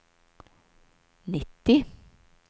nittio